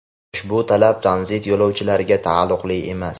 Ushbu talab tranzit yo‘lovchilariga taalluqli emas.